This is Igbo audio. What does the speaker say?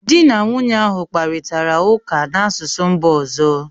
Di na nwunye ahụ kparịtara ụka n’asụsụ mba ọzọ